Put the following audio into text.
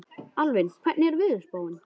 Alvin, hvernig er veðurspáin?